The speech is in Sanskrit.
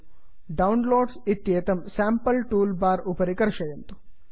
डाउनलोड्स डौन् लोड् इत्येतं स्यांपल् टूल् बार् उपरि कर्षयन्तु